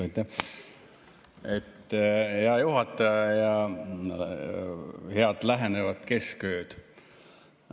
Aitäh, hea juhataja, ja head lähenevat keskööd!